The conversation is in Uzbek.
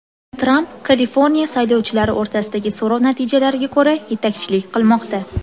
Tramp Kaliforniya saylovchilari o‘rtasidagi so‘rov natijalariga ko‘ra yetakchilik qilmoqda.